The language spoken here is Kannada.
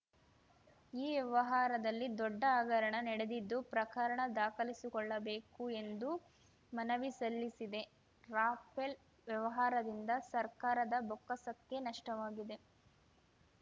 ಈ ವ್ಯವಹಾರದಲ್ಲಿ ದೊಡ್ಡ ಹಗರಣ ನಡೆದಿದ್ದು ಪ್ರಕರಣ ದಾಖಲಿಸಿಕೊಳ್ಳಬೇಕು ಎಂದು ಮನವಿ ಸಲ್ಲಿಸಿದೆ ರಫೇಲ್‌ ವ್ಯವಹಾರದಿಂದ ಸರ್ಕಾರದ ಬೊಕ್ಕಸಕ್ಕೆ ನಷ್ಟವಾಗಿದೆ